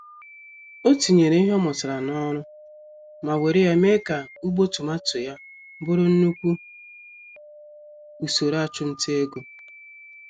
Otinyere ìhè ọ mụtara n'ọrụ, ma wéré ya mee ka ugbo tomato ya bụrụ nnukwu usoro achumtaego.